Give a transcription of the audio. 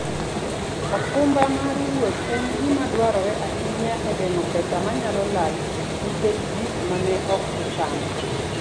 okumba mar wuoth en gima dwarore ahinya e geng'o pesa manyalo lal nikech gik ma ne ok ochan.